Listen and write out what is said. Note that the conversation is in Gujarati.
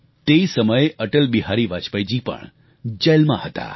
તે સમયે અટલ બિહારી વાજપેયીજી પણ જેલમાં હતા